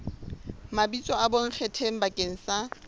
mabitso a bonkgetheng bakeng sa